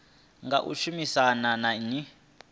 nga u shumisana na nnyi